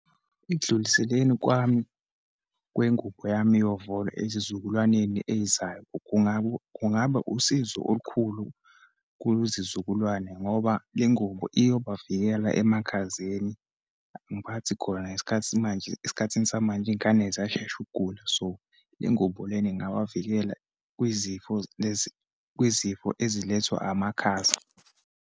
Ekudluliseleni kwami kwengubo yami yovolo ezizukulwaneni eyizayo, kungaba, kungaba usizo olukhulu kuzizukulwane ngoba le ngubo iyoba vikela emakhazeni. Angiphathi khona ngesikhathi manje, ngesikhathi samanje iyingane ziyashesha ukugula. So, le ngubo lena ingawavikela kwizifo lezi, kwizifo ezilethwa amakhaza.